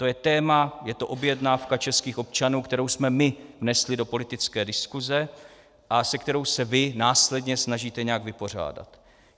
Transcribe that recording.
To je téma, je to objednávka českých občanů, kterou jsme my vnesli do politické diskuse a se kterou se vy následně snažíte nějak vypořádat.